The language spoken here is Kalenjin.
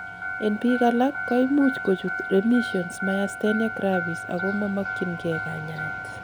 en biik alak, koimuch kochut remission myasthenia gravis ako momokyingei kanyaet